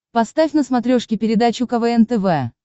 поставь на смотрешке передачу квн тв